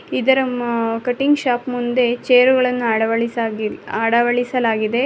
ಇದರ ಮ cutting shop ಮುಂದೆ ಚೇರುಗಳನ್ನು ಅಳವಡಿಸಾಗಿ ಅಳವಡಿಸಲಾಗಿದೆ.